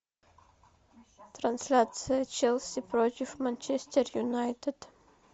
трансляция челси против манчестер юнайтед